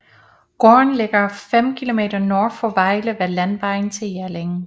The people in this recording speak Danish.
Gården ligger fem km nord for Vejle ved landevejen til Jelling